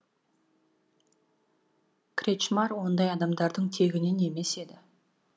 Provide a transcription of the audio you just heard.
кречмар ондай адамдардың тегінен емес еді